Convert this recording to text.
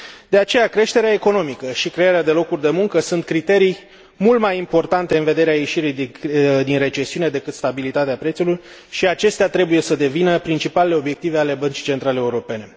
De aceea, creșterea economică și crearea de locuri de muncă sunt criterii mult mai importante în vederea ieșirii din recesiune decât stabilitatea prețurilor, și acestea trebuie să devină principalele obiective ale Băncii Centrale Europene.